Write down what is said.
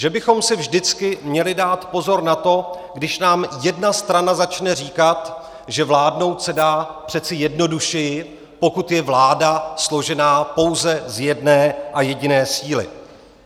Že bychom si vždycky měli dát pozor na to, když nám jedna strana začne říkat, že vládnout se dá přece jednodušeji, pokud je vláda složená pouze z jedné a jediné síly.